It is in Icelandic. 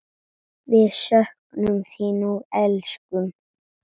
Við söknum þín og elskum.